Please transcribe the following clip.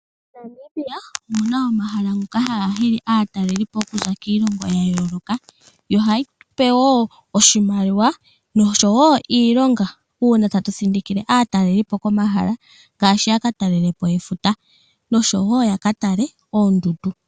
MoNamibia omuna omahala ngoka haga hili aataleli po okuza kiilongo ya yooloka, yo ohayi tupe wo oshimaliwa noshowo iilonga, uuna tatu thindikile aataleli po komahala ngaashi yaka talele po efuta noshowo yaka tale oondundu.